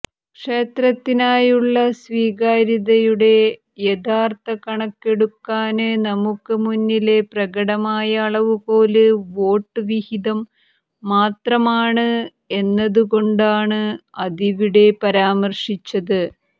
ക്ഷേത്രത്തിനായുള്ള സ്വീകരാത്യതയുടെ യഥാര്ഥ കണക്കെടുക്കാന് നമുക്ക് മുന്നിലെ പ്രകടമായ അളവുകോല് വോട്ട് വിഹിതം മാത്രമാണ് എന്നതുകൊണ്ടാണ് അതിവിടെ പരാമര്ശിച്ചത്